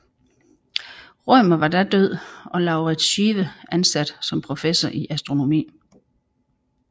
Rømer var da død og Lauritz Schive ansat som professor i astronomi